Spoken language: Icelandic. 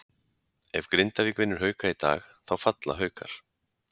Ef Grindavík vinnur Hauka í dag þá falla Haukar.